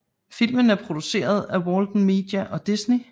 Filmen er produceret af Walden Media og Disney